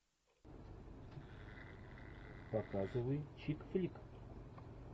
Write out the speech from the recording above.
показывай чик флик